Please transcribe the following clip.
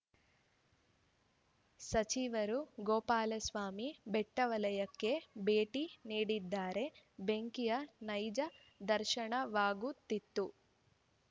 ಸಚಿವರು ಗೋಪಾಲಸ್ವಾಮಿ ಬೆಟ್ಟವಲಯಕ್ಕೆ ಭೇಟಿ ನೀಡಿದ್ದರೆ ಬೆಂಕಿಯ ನೈಜ ದರ್ಶನವಾಗುತ್ತಿತ್ತು